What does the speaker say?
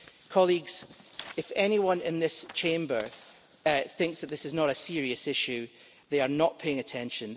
Colleagues, if anyone in this Chamber thinks that this is not a serious issue, they are not paying attention.